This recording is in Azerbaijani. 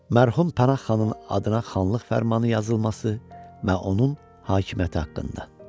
Mərhum Pənah xanın adına xanlıq fərmanı yazılması və onun hakimiyyəti haqqında.